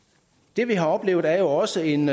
det vi har oplevet er jo også en